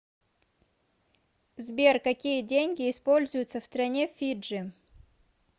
сбер какие деньги используются в стране фиджи